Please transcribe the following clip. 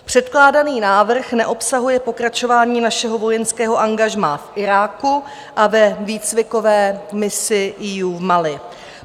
Předkládaný návrh neobsahuje pokračování našeho vojenského angažmá i Iráku a ve výcvikové misi EU v Mali.